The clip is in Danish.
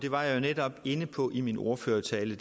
var jeg jo netop inde på i min ordførertale